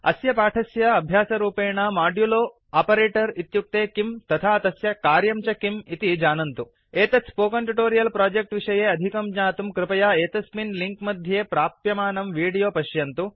अस्य पाठस्य अभ्यासरूपेण मोड्युलो मोड्युलो आपरेटर् इत्युक्ते किं तथा तस्य कार्यं च किम् इति जानन्तु एतत् स्पोकन् ट्युटोरियल् प्रोजेक्ट् विषये अधिकं ज्ञातुं कृपया एतस्मिन् लिङ्क् मध्ये प्राप्यमानं विडोयो पश्यन्तु